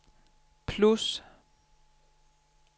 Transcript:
plus